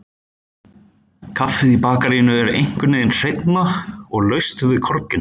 Kaffið í bakaríinu er einhvernveginn hreinna, og laust við korginn.